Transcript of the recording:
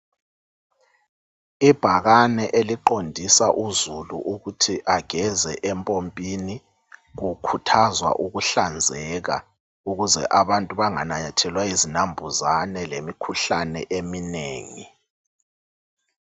Ibhakane eliqondisa uzulu ukuthi ageze empompini, kukhuthazwa ukuhlanzeka ukuze abantu bangananyathelwa yizinampuzane lemikhuhlane eminengi.